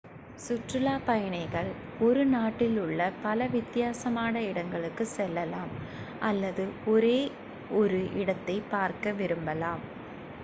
சுற்றுலாப் பயணிகள் ஒரு நாட்டில் உள்ள பல வித்தியாசமான இடங்களுக்குச் செல்லலாம் அல்லது ஒரே ஒரு இடத்தை பார்க்க விரும்பலாம்